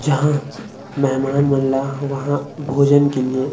जहाँ मेहमान मन ल वहाँ भोजन के लिए--